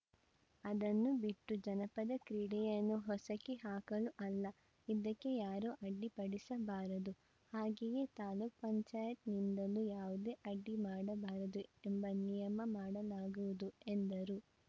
ಅದನ್ನು ಬಿಟ್ಟು ಜನಪದ ಕ್ರೀಡೆಯನ್ನು ಹೊಸಕಿಹಾಕಲು ಅಲ್ಲ ಇದಕ್ಕೆ ಯಾರೂ ಅಡ್ಡಿಪಡಿಸಬಾರದು ಹಾಗೆಯೇ ತಾಲೂಕ್ ಪಂಚಾಯತ್ ನಿಂದಲೂ ಯಾವುದೇ ಅಡ್ಡಿ ಮಾಡಬಾರದು ಎಂಬ ನಿಯಮ ಮಾಡಲಾಗುವುದು ಎಂದರು